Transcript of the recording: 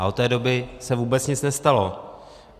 A od té doby se vůbec nic nestalo.